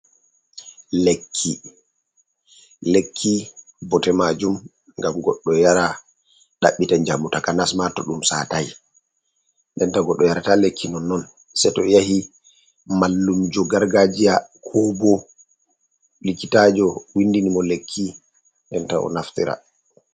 Lekki. Lekki bote majum ngam goɗɗo yara ɗabbita jamu taka nasma to ɗum satai. Denta goɗɗo yarata lekki nonnon sei to yahi mallum jo gar gajiya ko bo likkitajo windini mo lekki denta o naftira.